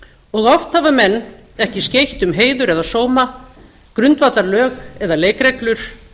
og oft hafa menn ekki skeytt um heiðar eða sóma grundvallarlög eða leikreglur